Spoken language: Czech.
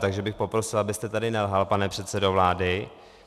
Takže bych poprosil, abyste tady nelhal, pane předsedo vlády.